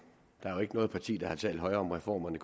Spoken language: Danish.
der er jo ikke noget parti der har talt højere om reformer end